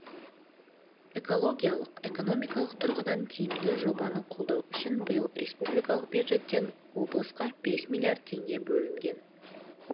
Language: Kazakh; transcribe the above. экологиялық экономикалық тұрғыдан тиімді жобаны қолдау үшін биыл республикалық бюджеттен облысқа бес миллиард теңге берілген